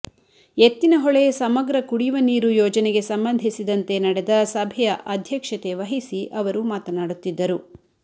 ಎತ್ತಿನಹೊಳೆ ಸಮಗ್ರ ಕುಡಿಯುವ ನೀರು ಯೋಜನೆಗೆ ಸಂಬಂಧಿಸಿದಂತೆ ನಡೆದ ಸಭೆಯ ಅಧ್ಯಕ್ಷತೆ ವಹಿಸಿ ಅವರು ಮಾತನಾಡುತ್ತಿದ್ದರು